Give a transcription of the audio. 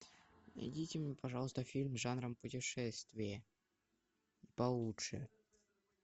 найдите мне пожалуйста фильм жанром путешествие получше